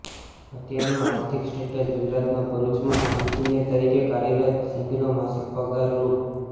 અત્યારનું આર્થિક સ્ટેટસ ગુજરાતના ભરૂચમાં એન્જિનિયર તરીકે કાર્યરત સિંઘનો માસિક પગાર રૂ